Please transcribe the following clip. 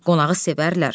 Qonağı sevərlər.